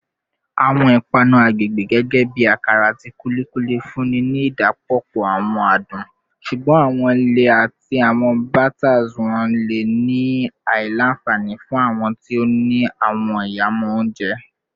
Awọn ipanu agbegbe gẹgẹbi akara ati kulikuli nfunni ni idapọpọ awọn adun, ṣugbọn awọn lẹẹ ati awọn batters wọn le ni awọn alailanfani fun awọn ti o ni awọn ihamọ ounjẹ.